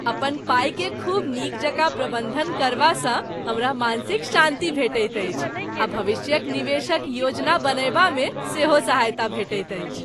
अपन पाइकेँ खूब नीक जकाँ प्रबन्धन करबासँ हमरा मानसिक शान्ति भेटैत अछि आ भविष्यक निवेशक योजना बनयबामे सेहो सहायता भेटैत अछि।